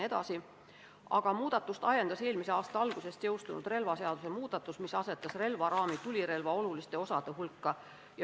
Ettepaneku ajendiks oli eelmise aasta alguses jõustunud relvaseaduse muudatus, mis asetas relvaraami tulirelva oluliste osade hulka.